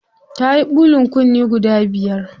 Tayi ɓulin kunne guda biyar.